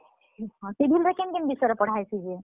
Civil ରେ କେନ୍ କେନ୍ ବିଷୟରେ ପଢା ହେସି ଯେ?